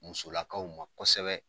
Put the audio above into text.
Musolakaw ma kosɛbɛ.